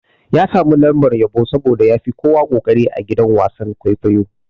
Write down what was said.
Ya samu lambar yabo saboda yafi kowa koƙari a gidan wasan-kwaikwayo.